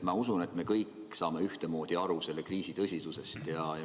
Ma usun, et me kõik saame selle kriisi tõsidusest ühtemoodi aru.